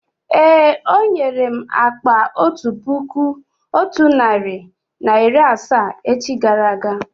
Èé, ọ nwere m akpa otu puku otu narị na iri asaa echi gara aga